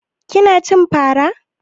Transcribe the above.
Kina cin fara